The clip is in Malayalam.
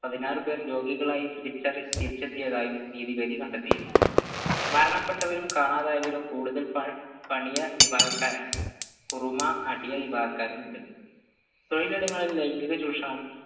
പതിനാറ് പേർ രോഗികളായി തിരിച്ചറി തിരിച്ചെത്തിയതായും നീതി വേദി കണ്ടെത്തിയിരുന്നു മരണപ്പെട്ടവരും കാണാതായവരും കൂടുതൽ പണി പണിയ വിഭാഗക്കാരാണ് കുറുമ അടിയ വിഭാഗക്കാക്കാരും ഉണ്ട് തൊഴിലിടങ്ങളിൽ ലൈംഗിക ചൂഷണം